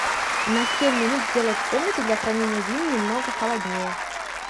на семь минут сделай в комнате для хранения вин немного холоднее